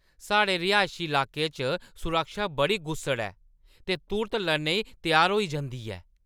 साढ़े रिहाइशी लाके च सुरक्षा बड़ी गुस्सड़ ऐ ते तुर्त लड़ने ई त्यार होई जंदी ऐ।